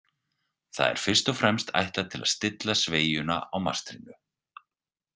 Það er fyrst og fremst ætlað til að stilla sveigjuna á mastrinu.